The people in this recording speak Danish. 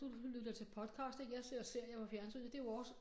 Du lytter til podcast ik jeg ser serier på fjernsynet det jo også